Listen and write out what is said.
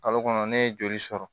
Kalo kɔnɔ ne ye joli sɔrɔ